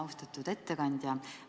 Austatud ettekandja!